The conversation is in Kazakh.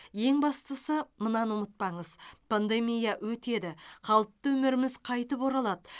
ең бастысы мынаны ұмытпаңыз пандемия өтеді қалыпты өміріміз қайтып оралады